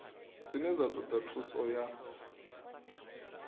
dzine dza toda thuso ya